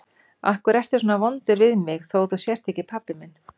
Af hverju ertu svona vondur við mig þó að þú sért ekki pabbi minn?